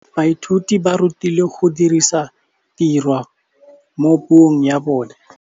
Baithuti ba rutilwe go dirisa tirwa mo puong ya bone.